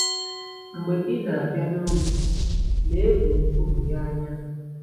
Mgbe ị na-abịa n’ụlọ, lee gburugburu ya anya.